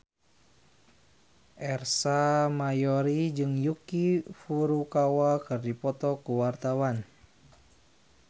Ersa Mayori jeung Yuki Furukawa keur dipoto ku wartawan